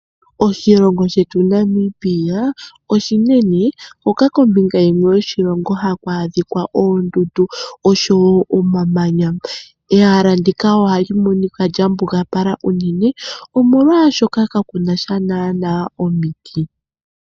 Oshilongo shetu Namibia oshinene hoka kombinga yimwe yoshilongo haku adhika oondundu osho wo omamanya. Ehala ndika ohali monika lya mbugapala unene, molwashoka kaku na sha naanaa omiti.